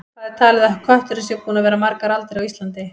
Hvað er talið að kötturinn sé búinn að vera margar aldir á Íslandi?